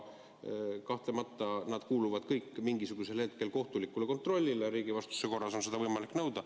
Kahtlemata nad kuuluvad kõik mingisugusel hetkel kohtulikule kontrollile, riigivastutuse korras on seda võimalik nõuda.